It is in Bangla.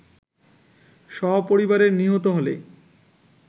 সপরিবারে নিহত হলে